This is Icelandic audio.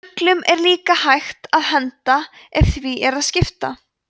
fuglum er líka hægt að henda ef því er að skipta